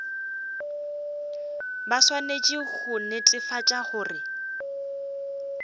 ba swanetše go netefatša gore